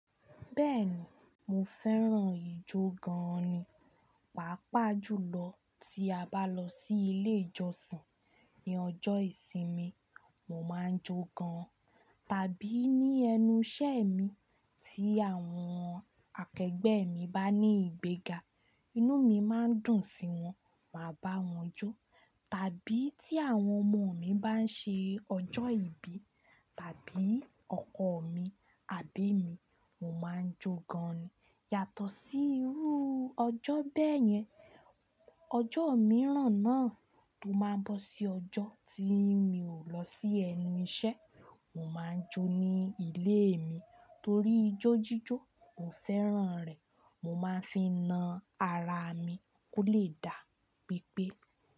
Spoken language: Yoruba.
Bẹ́ẹ̀ni, mo fẹ́ràn ijó gan-an ni. Pápá jùlọ tí a bá lọ sí ilé ìjọsìn, ní ọjọ́ ìsinmi mo máa ń jó gan-an. Tàbí ní ẹnu iṣẹ́ mi tí àwọn akẹgbẹ́ mi bá ní ìgbéga, inú mi máa ń dùn sí wọn, màá bá wọn jó. Tàbí tí àwọn ọmọ mi bá ń ṣe ọjọ́ ìbí, tàbí ọkọ mi, àbí mi, mo máa ń jó gan-an. Yàtọ̀ sí irú ọjọ́ bẹ́ẹ̀ yẹn, ọjọ́ mìíràn náà tó máa ń bọ́ sí ọjọ́ tí mi ò lọ sí ẹnu iṣẹ́, mo máa ń jó ní ilé mi torí ijó jíjó, mo fẹ́ràn rẹ̀. Mo máa ń fi na ara mi kó lè dà pípé.